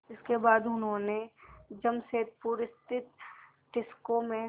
इसके बाद उन्होंने जमशेदपुर स्थित टिस्को में